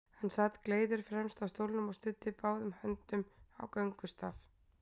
Hann sat gleiður fremst á stólnum og studdi báðum höndum á göngustaf.